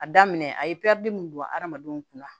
A daminɛ a ye mun don adamadenw kunna